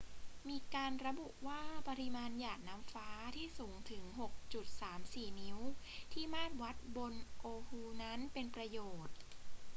มีการระบุว่าปริมาณหยาดน้ำฟ้าที่สูงถึง 6.34 นิ้วที่มาตรวัดบน oahu นั้น เป็นประโยชน์